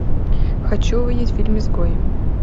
хочу увидеть фильм изгой